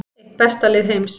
Eitt besta lið heims